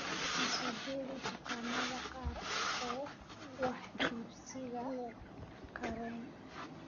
I soo jeedi dukaamada qaar ee wax iibsiga karen